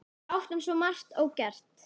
Við áttum svo margt ógert.